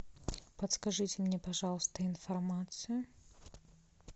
подскажите мне пожалуйста информацию